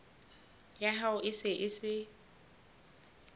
ya hao e se e